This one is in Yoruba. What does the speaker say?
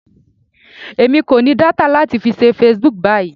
Èmi kò ní data láti fi ṣe Facebook báyìí.